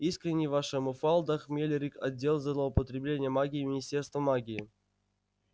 искренне ваша муфалда хмелкирк отдел злоупотребления магией министерство магии